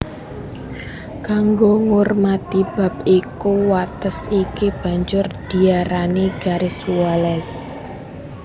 Kango ngurmati bab iku wates iki banjur diarani Garis Wallace